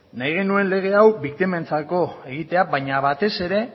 nahi genuen lege hau biktimentzako egitea baina batez ere